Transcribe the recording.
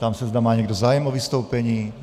Ptám se, zda má někdo zájem o vystoupení.